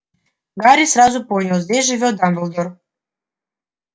гарри сразу понял здесь живёт дамблдор